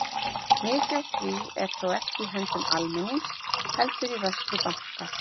Mikið af því er þó ekki í höndum almennings heldur í vörslu banka.